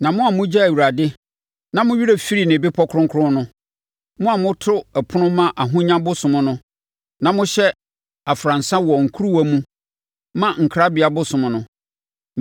“Na mo a mogya Awurade na mo werɛ firi ne bepɔ kronkron no, mo a moto ɛpono ma Ahonya bosom no na mohyɛ afransa wɔ nkuruwa mu ma Nkrabea bosom no,